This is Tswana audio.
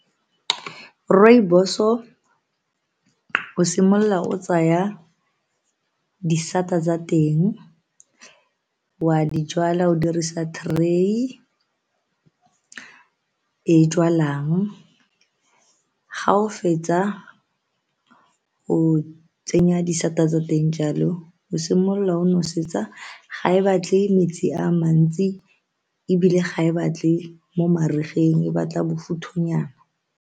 Rooibos-o simolola o tsaya disata tsa teng wa di jwala o dirisa tray-e e jwalang ga o fetsa go tsenya disata tsa teng jalo o simolola o nosetsa, ga e batle metsi a mantsi ebile ga e batle mo marigeng e batla bofuthunyana.